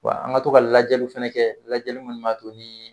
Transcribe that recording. Wa an ka to ka lajaliw fɛnɛ kɛ lajɛli munnu ma to ni